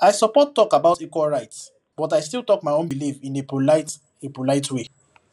i support talk about equal rights but i still talk my own belief in a polite a polite way